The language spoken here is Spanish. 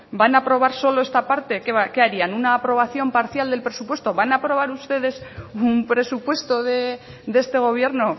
van a aprobar solo esta parte qué harían una aprobación parcial del presupuesto van a aprobar ustedes un presupuesto de este gobierno